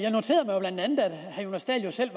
herre jonas dahl selv